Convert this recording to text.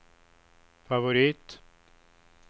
favorit